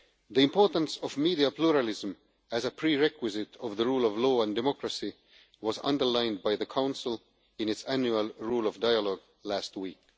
The importance of media pluralism as a prerequisite of the rule of law and democracy was underlined by the Council in its annual rule of law dialogue last week.